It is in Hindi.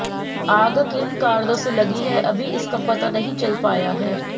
आग किन कारणों से लगी है अभी इसका पता नहीं चल पाया है